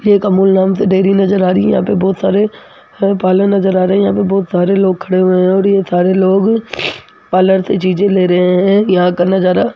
एक अमूल नाम से डेयरी नजर आ रही है यहां पे बहुत सारे पार्लर नजर आ रहे है यहां पे बहुत सारे लोग खड़े हुए है और ये सारे लोग पार्लर से चीजे ले रहे है यहां का नजारा --